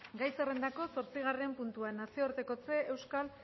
gai zerrendako zortzigarren puntua nazioartekotzeko euskal